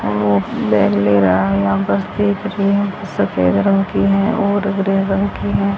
यहां बस दिख रही हैं कुछ सफेद रंग की है और ग्रीन रंग की है।